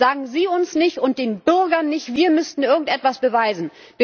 Sagen Sie uns und den Bürgern nicht, wir müssten irgendetwas beweisen!